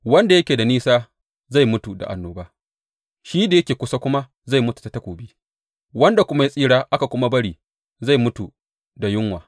Wanda yake da nisa zai mutu da annoba, shi da yake kusa kuma zai mutu ta takobi, wanda kuma ya tsira aka kuma bari zai mutu da yunwa.